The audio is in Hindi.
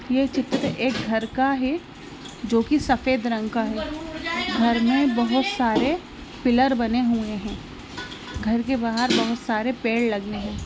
ये चित्र एक घर का है जो कि सफ़ेद रंग का है घर में बहुत सारे पिलर बने हुए है घर के बाहर बहुत सारे पेड़ लगे है।